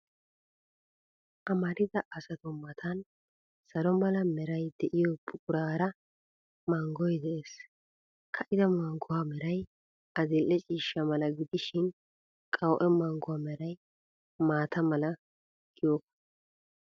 Amarida asatu matan salo mala meray de'iyoo buquraara manggoy de'ees. Ka'ida mangguwaa meray adil''e ciishsha mala gidishin, qawu''e mangguwaa meray maata mala giyooga.